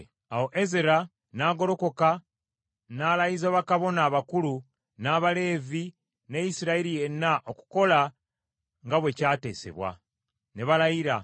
Awo Ezera n’agolokoka n’alayiza bakabona abakulu n’Abaleevi ne Isirayiri yenna okukola nga bwe kyateesebwa. Ne balayira.